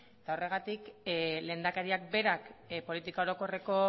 eta horregatik lehendakariak berak politika orokorreko